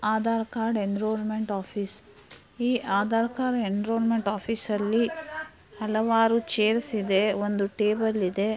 Aadhaar card enrolment office ಈ Aadhaar card enrolment ಆಫೀಸ್ಅಲ್ಲಿ . ಹಲವಾರು ಚೇರ್ಸ್ ಗಳು ಇದೆ ಒಂದು ಟೇಬಲ್ ಇದೆ.